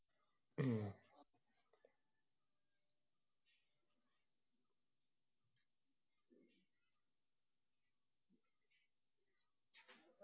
ഉം